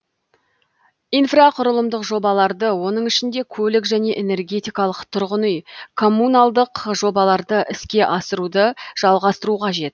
инфрақұрылымдық жобаларды оның ішінде көлік және энергетикалық тұрғын үй коммуналдық жобаларды іске асыруды жалғастыру қажет